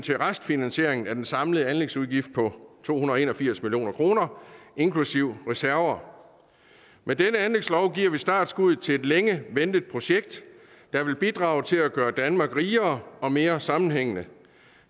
til restfinansiering af den samlede anlægsudgift på to hundrede og en og firs million kroner inklusive reserver med denne anlægslov giver vi startskuddet til et længe ventet projekt der vil bidrage til at gøre danmark rigere og mere sammenhængende